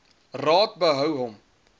raad behou hom